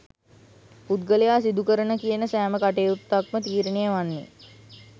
පුද්ගලයා සිදුකරන කියන සෑම කටයුත්තක්ම තීරණය වන්නේ